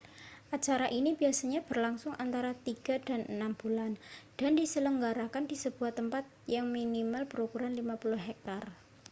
acara ini biasanya berlangsung antara tiga dan enam bulan dan diselenggarakan di sebuah tempat yang minimal berukuran 50 hektare